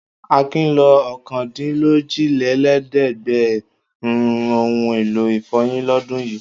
Akin lo ọ̀kandínlójìlélẹ́ẹ̀dẹ́gbẹ̀rún ohun-èlò ìfọyín lọ́dún yìí.